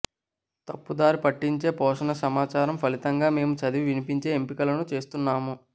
తప్పుదారి పట్టించే పోషణ సమాచారం ఫలితంగా మేము చదివి వినిపించే ఎంపికలను చేస్తున్నాము